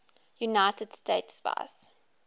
united states vice